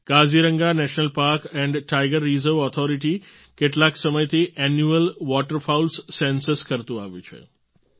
Kaziranga national park and tiger reserve authority કેટલાક સમયથી annual waterfowls census કરતું આવ્યું છે